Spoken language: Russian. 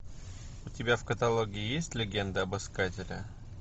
у тебя в каталоге есть легенда об искателе